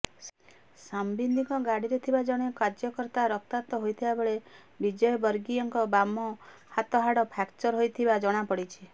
ସମ୍ବିତଙ୍କ ଗାଡ଼ିରେ ଥିବା ଜଣେ କାର୍ଯ୍ୟକର୍ତ୍ତା ରକ୍ତାକ୍ତ ହୋଇଥିବାବେଳେ ବିଜୟବର୍ଗୀୟଙ୍କ ବାମ ହାତ ହାଡ଼ ଫ୍ରାକ୍ଚର ହୋଇଥିବା ଜଣାପଡ଼ିଛି